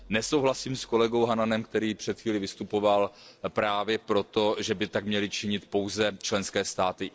Nesouhlasím s kolegou Hannanem, který před chvílí vystupoval právě proto, že by tak měly činit pouze členské státy.